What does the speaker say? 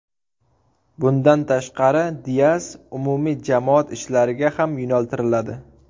Bundan tashqari, Dias umumiy jamoat ishlariga ham yo‘naltiriladi.